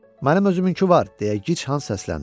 Mənim özümünkü var," deyə Gic Hans səsləndi.